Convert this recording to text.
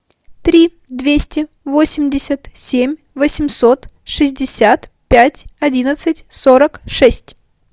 три двести восемьдесят семь восемьсот шестьдесят пять одиннадцать сорок шесть